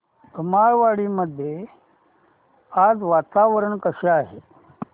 धुमाळवाडी मध्ये आज वातावरण कसे आहे